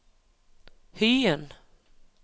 Hyen